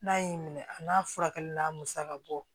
N'a y'i minɛ a n'a furakɛli n'a musakabɔ